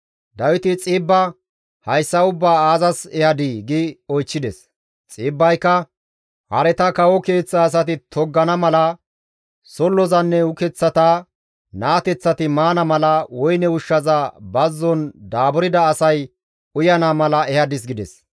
Dawiti Xiibba, «Hayssa ubbaa aazas ehadii?» gi oychchides. Xiibbayka, «Hareta kawo keeththa asati toggana mala, sollozanne ukeththata naateththati maana mala, woyne ushshaza bazzon daaburda asay uyana mala ehadis» gides.